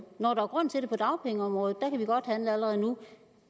når der er grund til det på dagpengeområdet der kan vi godt handle allerede nu